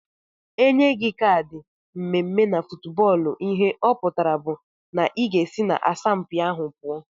Enye gi kad mmeme na footbọlụ ihe ọputara bu na iga esi na asampi ahu pụọ.